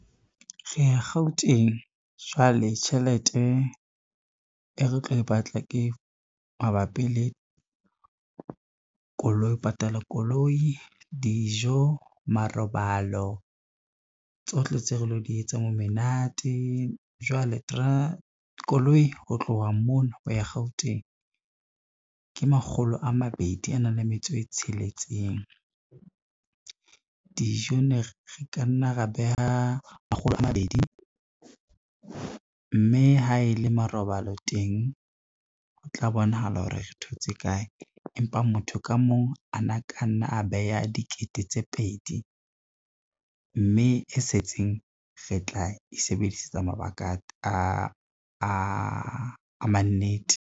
Re ya Gauteng jwale tjhelete e re tlo e batla ke mabapi ho patala koloi, dijo marobalo tsohle tseo re lo di etsang, menate. Jwale koloi ho tloha mona ho ya Gauteng ke makgolo a mabedi a nang le metso e tsheletseng, dijo ne re ka nna ra beha makgolo a mabedi, mme ha e le marobalo teng ho tla bonahala hore re thotse kae. Empa motho ka mong ana ka nna a beha dikete tse pedi, mme e setseng re tla e sebedisetsa mabaka a mannete.